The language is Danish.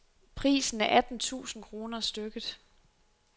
Prisen er atten tusind kroner stykket.